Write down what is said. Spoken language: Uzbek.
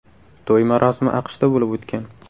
To‘y marosimi AQShda bo‘lib o‘tgan.